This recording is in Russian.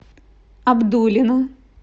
абдулино